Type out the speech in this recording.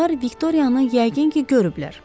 Onlar Viktoriyanı yəqin ki, görüblər.